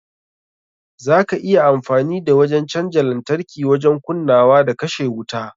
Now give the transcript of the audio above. Za ka iya amfani da wajen canja lantarki wajen kunnawa da kashe wuta.